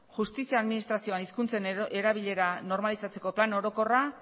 justizia administrazioan hizkuntzen erabilera normalizatzeko plan orokorra